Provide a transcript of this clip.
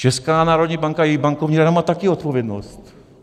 Česká národní banka a její Bankovní rada má taky odpovědnost.